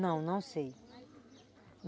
Não, não sei.